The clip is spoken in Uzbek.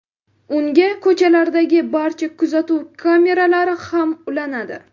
Unga ko‘chalardagi barcha kuzatuv kameralari ham ulanadi.